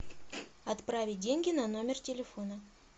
отправить деньги на номер телефона